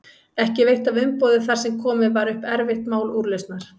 Ekki veitti af umboði þar sem komið var upp erfitt mál úrlausnar.